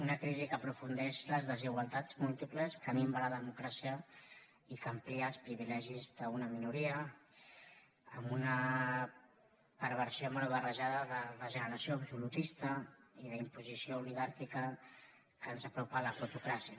una crisi que aprofundeix les desigual·tats múltiples que minva la democràcia i que amplia els privilegis d’una minoria amb una perversió mal barrejada de generació absolutista i d’imposició oli·gàrquica que ens apropa a la plutocràcia